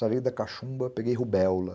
Sarei da cachumba, peguei rubéola.